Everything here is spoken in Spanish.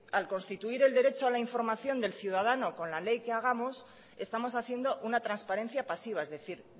al constituir el derecho a la información del ciudadano con la ley que hagamos estamos haciendo una transparencia pasiva es decir